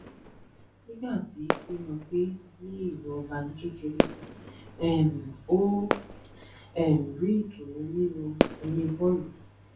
nígbà tí ó lọ gbé ní ìlú ọba ní kékeré um ó um rí ìtùnú nínú eré bóòlù